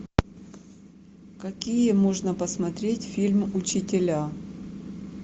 какие можно посмотреть фильм учителя